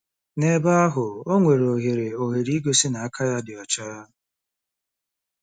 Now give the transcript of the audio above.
N'ebe ahụ, o nwere ohere ohere igosi na aka ya dị ọcha.